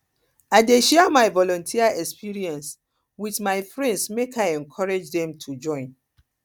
i dey share my volunteer experience wit my friends make i encourage dem to join